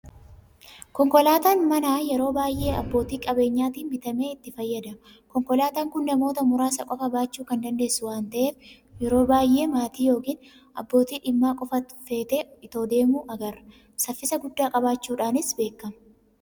Konkolaataan manaa yeroo baay'ee abbootii qabeenyaatiin bitamee itti fayyadamama. Konkolaataan kun namoota muraasa qofa baachuu kan dandeessu waan ta'eef yeroo baay'ee maatii yookiin abbootii dhimmaa qofa fe'ee itoo deemuu agarra. Saffisa guddaa qabaachuudhaanis beekama.